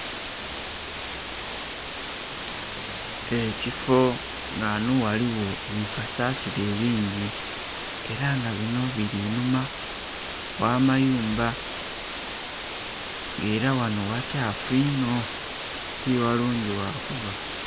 Ekifoo nga ghano ghaligho bikasasiro ebingi era nga bino biri inhuma gh'amayumba nga era wano ghakyafu inho ti ghalungi ghangulu agha kuba.